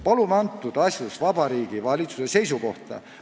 Palume neis asjus Vabariigi Valitsuse seisukohta.